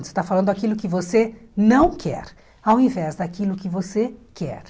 Você está falando aquilo que você não quer, ao invés daquilo que você quer.